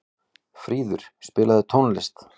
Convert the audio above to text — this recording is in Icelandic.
Fríður, spilaðu tónlist.